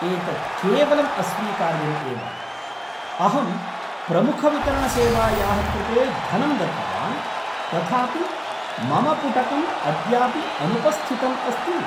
एतत् केवलं अस्वीकार्यम् एव अहं प्रमुखवितरणसेवायाः कृते धनं दत्तवान् तथापि मम पुटकम् अद्यापि अनुपस्थितम् अस्ति!